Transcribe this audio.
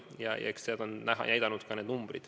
Ja eks seda on näidanud ka need numbrid.